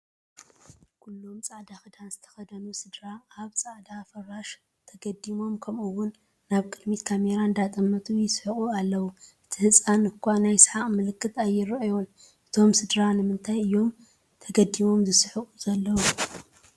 ኩሎም ፃዕዳ ክዳን ዝተኸደኑ ስድራ ኣብ ፃዕዳ ፍራሽ ተገዲሞም ከምኡውን ናብ ቅድሚት ካሜራ እንዳጠመቱ የስሐቑ ኣለው፡፡ እቲ ህፃን እኳ ናይ ስሓቕ ምልክት ኣይራኣዮን፡፡ እቶም ስድራ ንምንታይ እዮም ተጋዲሞም ዝስሕቑ ዘለው?